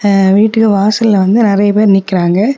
அ வீட்டுக்கு வாசல்ல வந்து நெறைய பேர் நிக்கிறாங்க.